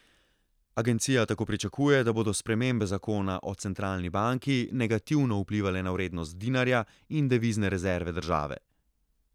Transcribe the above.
Agencija tako pričakuje, da bodo spremembe zakona o centralni banki negativno vplivale na vrednost dinarja in devizne rezerve države.